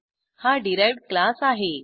हा derived class आहे